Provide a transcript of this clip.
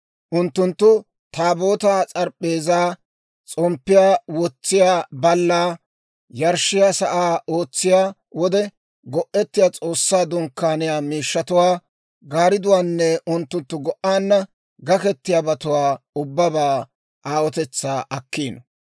Unttunttu Taabootaa, s'arap'p'eezaa, s'omppiyaa wotsiyaa ballaa, yarshshiyaa sa'aa, ootsiyaa wode go'ettiyaa S'oossaa Dunkkaaniyaa miishshatuwaa, gaaridduwaanne unttunttu go"aanna gaketiyaabatuwaa ubbabaa aawotetsaa akkiino.